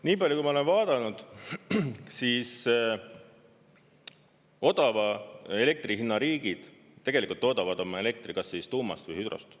Nii palju, kui ma olen vaadanud, siis odava elektri hinna riigid tegelikult toodavad elektri kas tuumast või hüdrost.